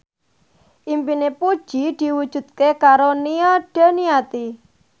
impine Puji diwujudke karo Nia Daniati